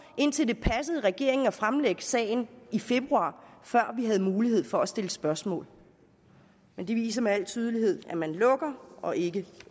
indtil det passede regeringen at fremlægge sagen i februar før vi havde mulighed for at stille spørgsmål det viser med al tydelighed at man lukker og ikke